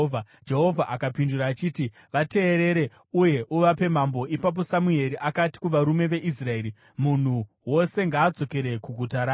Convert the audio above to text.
Jehovha akapindura achiti, “Vateerere uye uvape mambo.” Ipapo Samueri akati kuvarume veIsraeri, “Munhu wose ngaadzokere kuguta rake.”